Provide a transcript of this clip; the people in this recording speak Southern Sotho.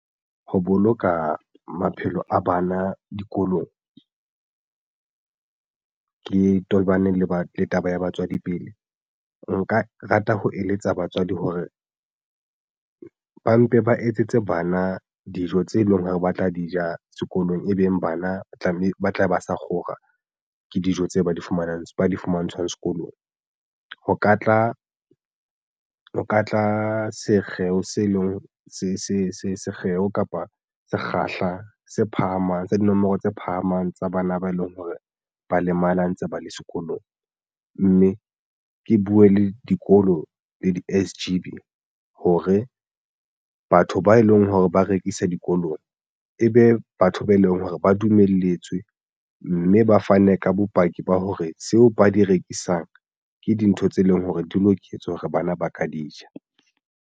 Ho boloka maphelo a bana dikolong ke tobane le ba le taba ya batswadi pele. Nka rata ho eletsa batswadi hore ba mpe ba etsetse bana dijo tse leng hore ba tla di ja sekolong e beng bana tlameha ba tlabe ba sa kgora ke dijo tse ba di fumanang di fumantshwang sekolong ho ka tla o ka tla sekgeo se leng sekgeo kapa sekgahla se phahamang sa dinomoro tse phahamang tsa bana ba eleng hore ba lemala ntse ba le sekolong mme ke buwe le dikolo le di-S_G_B hore batho ba eleng hore ba rekisa dikolong ebe batho ba eleng hore ba dumelletswe mme ba fane ka bopaki ba hore seo ba di rekisang ke dintho tse leng hore di loketswe hore bana ba ka di ja.